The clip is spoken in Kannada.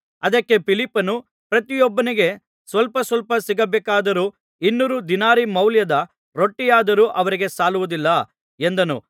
ಅದಕ್ಕೆ ಫಿಲಿಪ್ಪನು ಪ್ರತಿಯೊಬ್ಬನಿಗೆ ಸ್ವಲ್ಪ ಸ್ವಲ್ಪ ಸಿಕ್ಕಬೇಕಾದರೂ ಇನ್ನೂರು ದಿನಾರಿ ಮೌಲ್ಯದ ರೊಟ್ಟಿಯಾದರೂ ಅವರಿಗೆ ಸಾಲುವುದಿಲ್ಲ ಎಂದನು